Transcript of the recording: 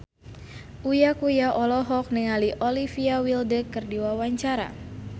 Uya Kuya olohok ningali Olivia Wilde keur diwawancara